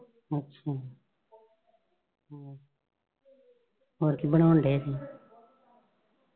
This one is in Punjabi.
ਹੋਰ ਕੀ ਬਣਾਉਣ ਡੈ ਸੀ?